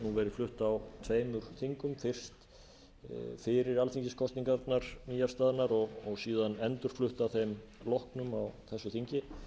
flutt á tveimur þingum fyrst fyrir alþingiskosningarnar nýafstaðnar og síðan endurflutt að þeim loknum á þessu þingi